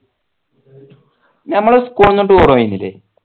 നമ്മൾ school ൽന്ന് tour പോയിക്കില്ലേ